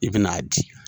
I bɛn'a di